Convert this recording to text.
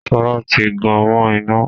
Sọlá tí gan mọ́ iná